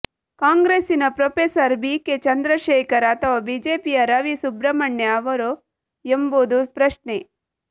ಕಾಂಗ್ರೆಸ್ಸಿನ professor B K Chandrashekhar ಅಥವಾ ಬಿಜೆಪಿಯ ರವಿ ಸುಬ್ರಮಣ್ಯ ಅವರೋ ಎಂಬುದು ಪ್ರಶ್ನೆ